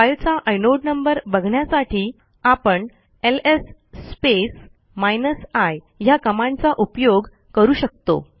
फाईलचा inode number बघण्यासाठी आपण एलएस स्पेस हायफेन आय ह्या कमांडचा उपयोग करू शकतो